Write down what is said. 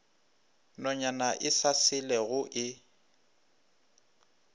nonyana e sa selego e